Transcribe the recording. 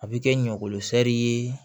A bɛ kɛ ɲɔgolo sɛri ye